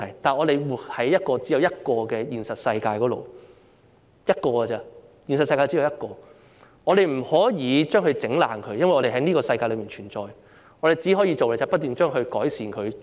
不過，我們是生活在一個現實世界裏，現實世界只有一個而已，我們不可以破壞它，因為我們存在於這個世界，我們可以做的只是不斷去改善它。